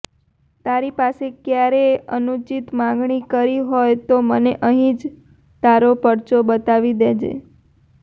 તારી પાસે ક્યારેય અનુચિત માંગણી કરી હોય તો મને અહીં જ તારો પરચો બતાવી દેજે